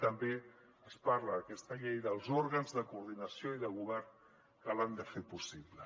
i també es parla en aquesta llei dels òrgans de coordinació i de govern que l’han de fer possible